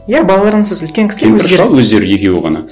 иә үлкен кісілер кемпір шал өздері екеуі ғана